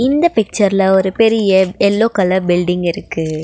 இந்த பிச்சர்ல ஒரு பெரிய எல்லோ கலர் பில்டிங் இருக்கு.